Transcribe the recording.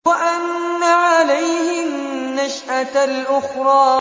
وَأَنَّ عَلَيْهِ النَّشْأَةَ الْأُخْرَىٰ